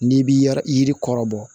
N'i bi yɔrɔ yiri kɔrɔ bɔ